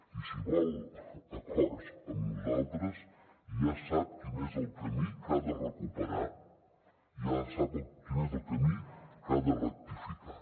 i si vol acords amb nosaltres ja sap quin és el camí que ha de recuperar i ja sap quin és el camí que ha de rectificar